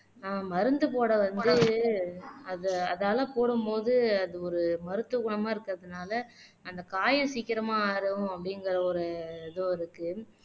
ஆஹ் மருந்து போட வந்து அது அதால போடும் போது அது ஒரு மருத்துவ குணமா இருக்கறதுனால அந்த காயம் சீக்கிரமா ஆறும் அப்படிங்கற ஒரு இதுவும் இருக்கு